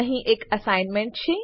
અહીં એક એસાઈનમેંટ છે